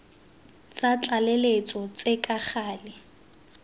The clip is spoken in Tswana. tsa tlaleletso tse ka gale